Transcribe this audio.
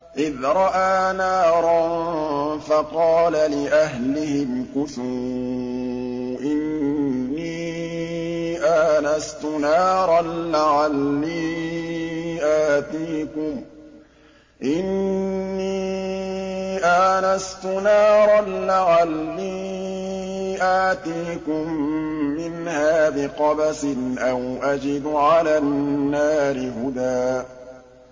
إِذْ رَأَىٰ نَارًا فَقَالَ لِأَهْلِهِ امْكُثُوا إِنِّي آنَسْتُ نَارًا لَّعَلِّي آتِيكُم مِّنْهَا بِقَبَسٍ أَوْ أَجِدُ عَلَى النَّارِ هُدًى